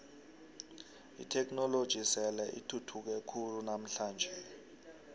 itheknoloji sele ithuthuke khulu namhlanje